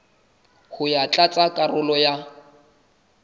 ho ya tlatsa karolo ya